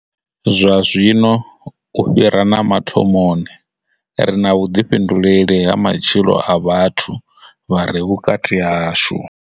Zwa zwino, u fhira na mathomoni, ri na vhuḓifhinduleli ha matshilo a vhathu vha re vhukati hashu.